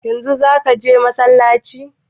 Yanzu zaka je masallaci?